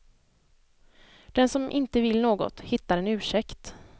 Den som inte vill något hittar en ursäkt.